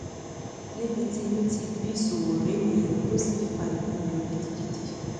níbi tí inú ti bí sowore nìyẹn tó sì fa ìbínú yọ gidigidi